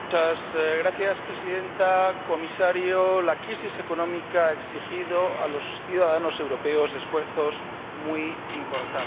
Señora Presidenta, Comisario, la crisis económica ha exigido a los ciudadanos europeos esfuerzos muy importantes.